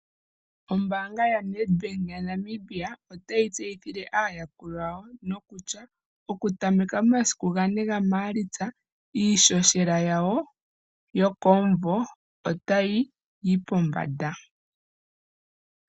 Ombaanga yaNedbank ya Namibia otayi tseyithile aayakulwa yawo nokutya okutameka momasiku gane gamaalitsa iishoshela yawo yokomuvo otayi yi pombanda.